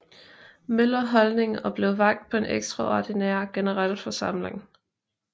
Møller Holding og blev valgt på en ekstraordinær generalforsamling